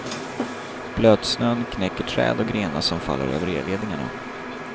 Blötsnön knäcker träd och grenar som faller över elledningarna.